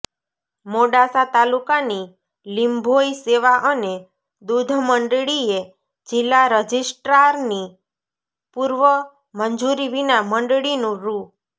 મોડાસા તાલુકાની લીંભોઈ સેવા અને દૂધ મંડળીએ જિલ્લા રજીસ્ટ્રારની પૂર્વ મંજૂરી વિના મંડળીનું રૂ